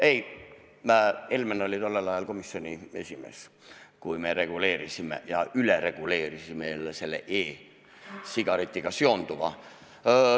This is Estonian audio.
Ei, Helmen oli tollel ajal komisjoni esimees, kui me reguleerisime ja ülereguleerisime jälle selle e-sigaretiga seonduva.